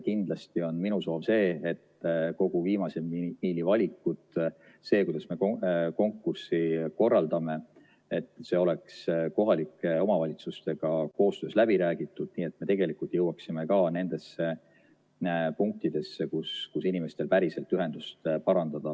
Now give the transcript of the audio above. Kindlasti on minu soov see, et kõik viimase miili temaatika valikud, see, kuidas me konkurssi korraldame, oleks kohalike omavalitsustega läbi räägitud, nii et me tegelikult jõuaksime ka nendesse punktidesse, kus inimestel on vaja päriselt ühendust parandada.